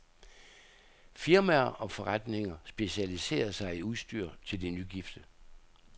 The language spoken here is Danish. Firmaer og forretninger specialiserer sig i udstyr til de nygifte.